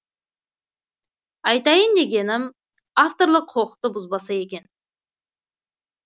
айтайын дегенім авторлық құқықты бұзбаса екен